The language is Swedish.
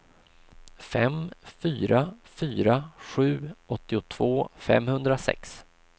fem fyra fyra sju åttiotvå femhundrasex